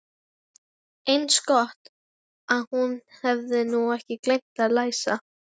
Eins gott að hún hefði nú ekki gleymt að læsa.